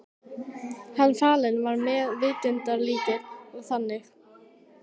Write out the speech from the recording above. Hinn fallni var meðvitundarlítill og þagði.